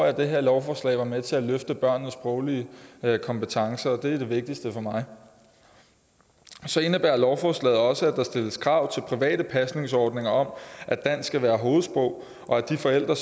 at det her lovforslag var med til at løfte børnenes sproglige kompetencer det er det vigtigste for mig så indebærer lovforslaget også at der stilles krav til private pasningsordninger om at dansk skal være hovedsprog og at de forældre